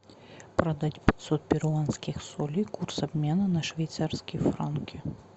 продать пятьсот перуанских солей курс обмена на швейцарские франки